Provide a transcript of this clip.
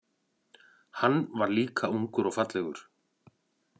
Hann var líka ungur og fallegur.